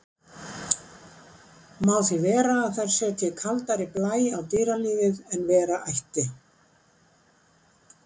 Má því vera að þær setji kaldari blæ á dýralífið en vera ætti.